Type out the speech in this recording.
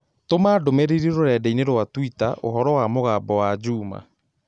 tũma ndũmīrīri rũrenda-inī rũa tũita ũhoro wa mũgambo wa Juma